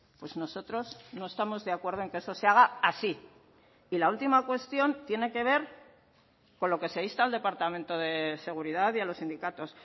pues nosotros no estamos de acuerdo en que eso se haga así y la última cuestión tiene que ver con lo que se insta al departamento de seguridad y a los sindicatos